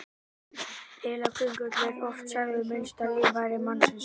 Heilaköngull er oft sagður minnsta líffæri mannsins.